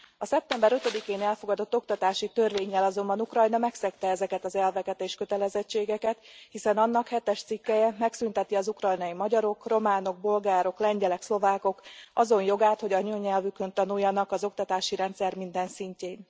A szeptember 5 én elfogadott oktatási törvénnyel azonban Ukrajna megszegte ezeket az elveket és kötelezettségeket, hiszen annak 7 es cikkelye megszünteti az ukrajnai magyarok, románok, bolgárok, lengyelek, szlovákok azon jogát, hogy anyanyelvükön tanuljanak az oktatási rendszer minden szintjén.